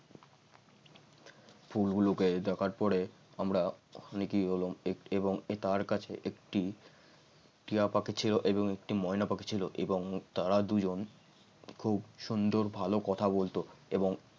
ফুলগুলোকে দেখার পরে অনেকেই হলাম এবং তার কাছে একটি টিয়া পাখি ছিল এবং একটি ময়না পাখি ছিল এবং তারা দুজন খুব সুন্দর ভালো কথা বলতো এবং